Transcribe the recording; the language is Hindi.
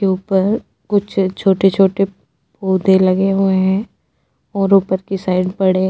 के ऊपर कुछ छोटे-छोटे पौधे लगे हुए हैं और ऊपर की साइड बड़े --